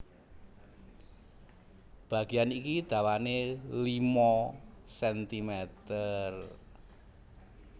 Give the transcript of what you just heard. Bagéyan iki dawané limo sentimeter